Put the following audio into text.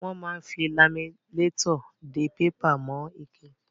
Wọ́n máa ń fi laminétọ̀ dé pépà mọ́ ike.